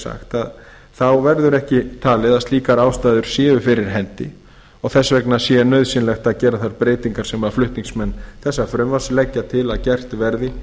sagt það verður ekki talið að slíkar ástæður séu fyrir hendi og þess vegna sé nauðsynlegt að gera þær breytingar sem flutningsmenn þessa frumvarps leggja til að gert verði